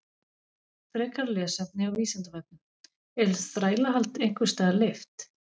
Frekara lesefni á Vísindavefnum: Er þrælahald einhvers staðar leyft?